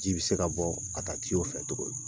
Ji bi se ka bɔ ka taa fɛ cogo min.